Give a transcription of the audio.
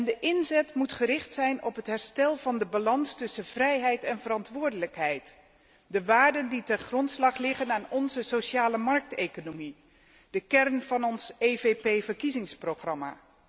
De inzet moet gericht zijn op het herstel van de balans tussen vrijheid en verantwoordelijkheid, de waarden die ten grondslag liggen aan onze sociale markteconomie, de kern van ons EVP verkiezingsprogramma.